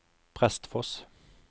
Prestfoss